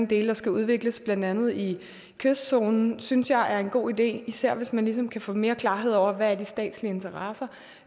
dele der skal udvikles blandt andet i kystzonen det synes jeg er en god idé især hvis man ligesom kan få mere klarhed over hvad de statslige interesser